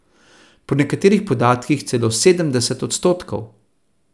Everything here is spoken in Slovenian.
Po nekaterih podatkih celo sedemdeset odstotkov.